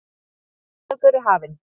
Síðari hálfleikur er hafinn